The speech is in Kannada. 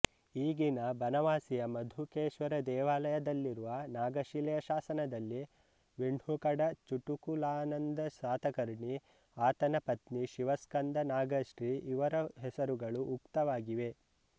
ಈಗಿನ ಬನವಾಸಿಯ ಮಧುಕೇಶ್ವರ ದೇವಾಲಯದಲ್ಲಿರುವ ನಾಗಶಿಲೆಯ ಶಾಸನದಲ್ಲಿ ವಿಣ್ಹುಕಡ ಚುಟುಕುಲಾನಂದ ಸಾತಕರ್ಣಿ ಆತನ ಪುತ್ರಿ ಶಿವಸ್ಕಂಧನಾಗಶ್ರೀ ಇವರ ಹೆಸರುಗಳು ಉಕ್ತವಾಗಿವೆ